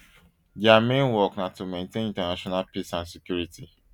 dia main work na to maintain international peace and security